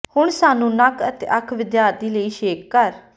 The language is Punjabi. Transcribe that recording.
ਹੁਣ ਸਾਨੂੰ ਨੱਕ ਅਤੇ ਅੱਖ ਵਿਦਿਆਰਥੀ ਲਈ ਛੇਕ ਕਰ